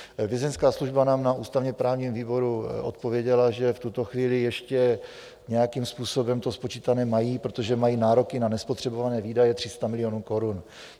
Vězeňská služba nám na ústavně-právním výboru odpověděla, že v tuto chvíli ještě nějakým způsobem to spočítané mají, protože nemají nároky na nespotřebované výdaje 300 milionů korun.